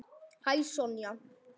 Hæ, Sonja.